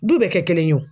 Du bɛɛ kɛ kelen ye o